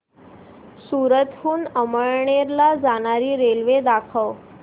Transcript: सूरत हून अमळनेर ला जाणारी रेल्वे दाखव